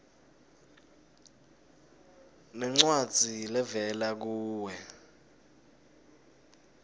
nencwadzi levela kuwe